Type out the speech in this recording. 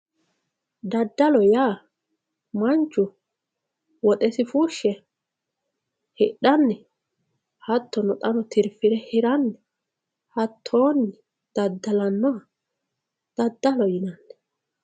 daddalo yaa manchu woxesi fushshe hidhanni hattono tirfire hiranni hattoonni daddalannoha daddalo yinanni.